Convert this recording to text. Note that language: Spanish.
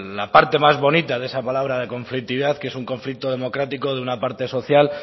la parte más bonita de esa palabra de conflictividad que es un conflicto democrático de una parte social